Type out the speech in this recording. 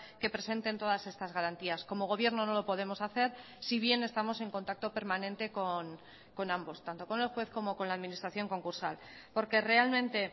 que presenten todas estas garantías como gobierno no lo podemos hacer si bien estamos en contacto permanente con ambos tanto con el juez como con la administración concursal porque realmente